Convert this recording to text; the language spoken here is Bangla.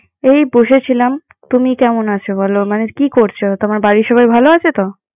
এই বসেছিলাম। তুমি কেমন আছো বলো? মানে কি করছো? তোমার বাড়ির সবাই ভালো আছো তো?